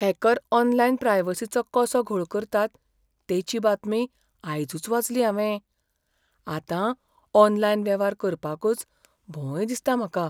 Hacker online प्रायवसिचो कसो घोळ करतात तेची बातमी आयजूच वाचली हांवें, आतां ऑनलायन वेव्हार करपाकच भंय दिसता म्हाका.